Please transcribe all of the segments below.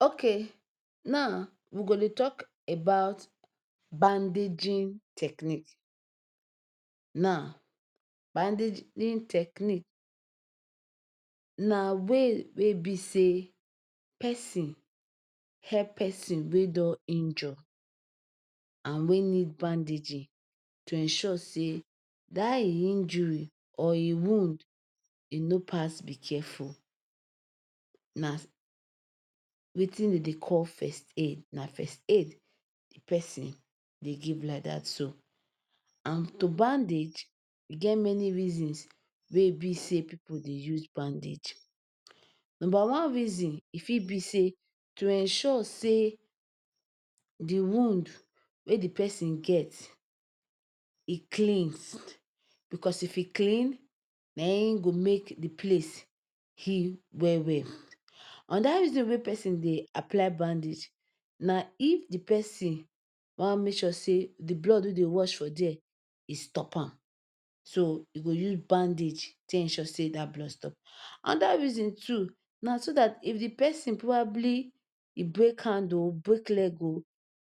Ok, now, we go dey talk about bandaging technique. Now, bandaging technique na way wey be sey person help person wey don injure and wey need bandaging to ensure sey dat e injury or e wound e nor pass be careful na wetin we dey call first aid, first aid na first aid the person dey give like dat so. And to bandage e many reasons wey be sey pipu dey use bandage. Number one reason e fit be sey to ensure sey de wound wey de person get e clean cos if e clean na e make de place heal well well, another reason person dey apply bandage na if de person wan make sure sey their blood wey dey rush for there e stop am, so, e use bandage to take ensure sey dat blood e stop. Another reason too, na so dat if de person probably e break hand oh, break leg oh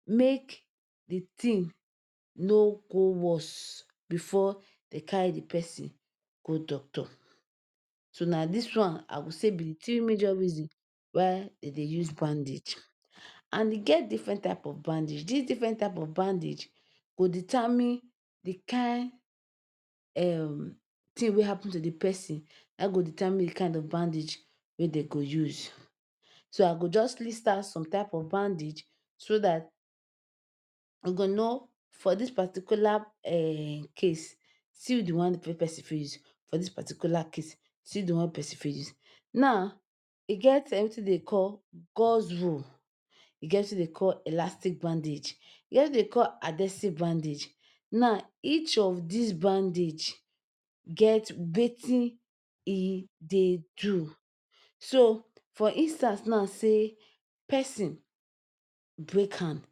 make de thing nor go worst before dey carry de person go doctor. So na dis one I go say be de three major reason why dem dey use bandage. And e get different type of bandage, these different type of bandage go determine de kind um thing wey happen to de person na go determine de kind of bandage wey dey go use. So, I go just list out some type of bandage so dat we go know for dis particular um case, see one wey person fit use for dis particular case see de one person fit use. Now, e get wetin dey call gods roll, elastic bandage, e get wetin dey call adhesive bandage, now each of dis bandage get wetin e dey do. So for instance now sey person break hand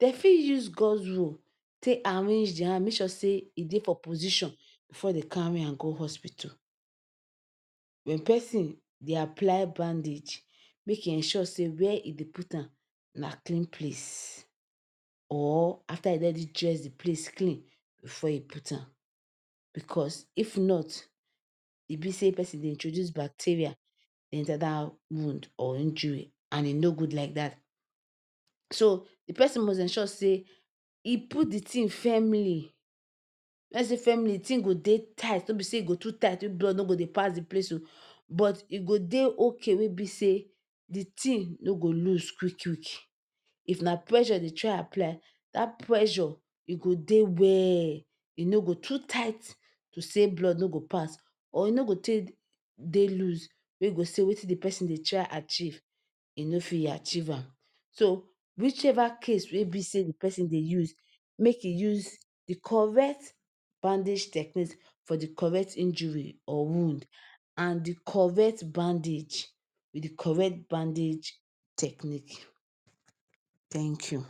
dey fit use gods roll take arrange de hand make sey e dey position before dey carry am go hospital when person dey apply bandage make e ensure sey where e dey put am na clean place or after dem don already dress de place clean before e put am because if not e be say person dey introduce bacterial enter dat wound or injury and e nor good like dat. so De person must ensure sey e put the thing firmly when we sey firmly de thing go dey tight nor sey e go too tight when blood nor go pass de place oh. But e go dey ok, we be say de thing nor go lose quick quick. If na pressure e dey try apply dat pressure e go dey well e nor go too tight to sey blood nor go pass or go take dey lose wey go sey wetin de person dey try achieve e nor fit achieve am. So, which ever case wey be sey de person dey use make e use de correct bandage techniques for de correct injury or wound and de correct bandage with de correct bandage technique. Thank you.